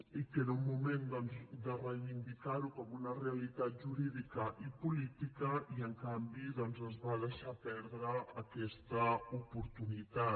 i que era un moment de reivindicar ho com una realitat jurídica i política i en canvi es va deixar perdre aquesta oportunitat